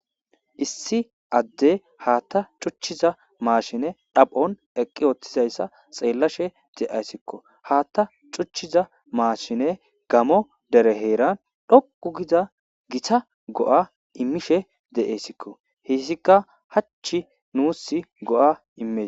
issi adde haatta cuchchiza maashine dhaphon eqqi ooththizayssa xeellashe de7ayssikko haatta cuchchiza maashine gamo dere heeran dhoqu giza gita go7a immishe de7eyssikko hissikka hach nuus go7a immie